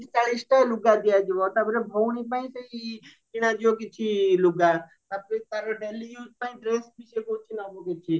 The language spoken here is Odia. ଚାଳିଶଟା ଲୁଗା ଦିଆଯିବ ତାପରେ ଭଉଣୀ ପାଇଁ ସେଇ କିଣାଯିବା କିଛି ଲୁଗା ତାପରେ ତାର daily use ପାଇଁ ଡ୍ରେସବି ସିଏ କହୁଛି ନବ କିଛି